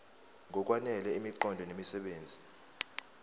ngokwanele imiqondo nemisebenzi